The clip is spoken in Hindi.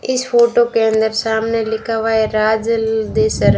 इस फोटो के अंदर सामने लिखा हुआ है राज देसर--